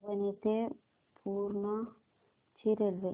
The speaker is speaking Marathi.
परभणी ते पूर्णा ची रेल्वे